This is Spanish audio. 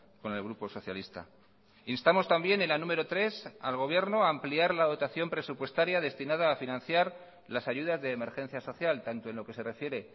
con el grupo socialista instamos también en la número tres al gobierno a ampliar la dotación presupuestaria destinada a financiar las ayudas de emergencia social tanto en lo que se refiere